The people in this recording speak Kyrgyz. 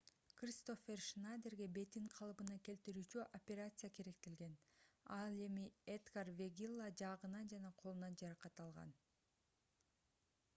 кристоффер шнадерге бетин калыбына келтирүүчү операция керектелген ал эми эдгар вегилла жаагынан жана колунан жаракат алган